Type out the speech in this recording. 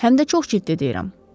Həm də çox ciddi deyirəm.